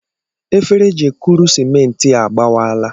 Efere eji ekuru simenti a gbawaala.